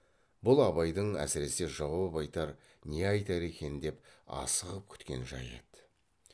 бұл абайдың әсіресе жауап айтар не айтар екен деп асығып күткен жайы еді